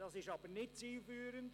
Das ist aber nicht zielführend.